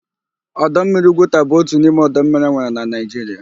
Ọdọ mmiri Ugwuta bụ otu n'ime ọdọ mmiri enwere na Naịjiria.